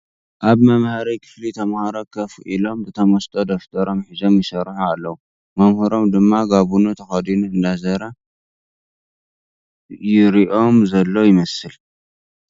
ኣብ መምሃሪ ክፍሊ ተመሃሮ ኮፍ ኢሎም ብተመስጦ ደብሮም ሒዞም ይሰርሑ ኣለዉ መምህሮም ድማ ጋቡኑ ተኸዲኑ እንዳዘረ ዝሪኦም ዘሎ ይመስል ።